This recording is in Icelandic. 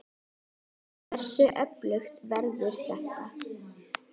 Hversu öflugt verður þetta?